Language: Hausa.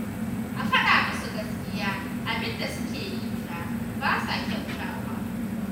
A faɗa musu gaskiya abin da suke yi fa ba sa kyautawa